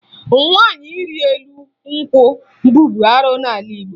Nwaanyị ịrị elu nkwụ bụbu arụ n'ala Igbo